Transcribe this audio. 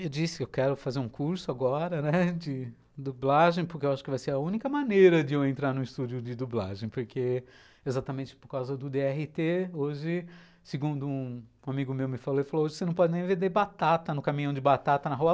Eu disse que eu quero fazer um curso agora, né, de dublagem, porque eu acho que vai ser a única maneira de eu entrar num estúdio de dublagem, porque exatamente por causa do dê erre tê, hoje, segundo um amigo meu me falou, ele falou, hoje você não pode nem vender batata no caminhão de batata na rua.